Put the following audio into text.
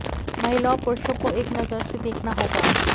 महिला और पुरूषों को एक नजर से देखना होगा